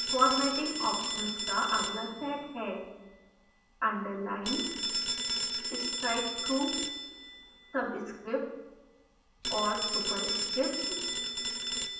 formatting options का अगला set है